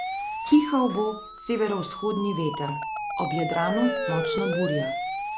Pihal bo severovzhodni veter, ob Jadranu močna burja.